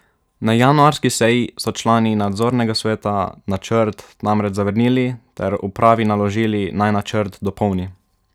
Na januarski seji so člani nadzornega sveta načrt namreč zavrnili ter upravi naložili, naj načrt dopolni.